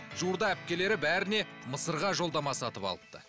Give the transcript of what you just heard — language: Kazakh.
жуырда әпкелері бәріне мысырға жолдама сатып алыпты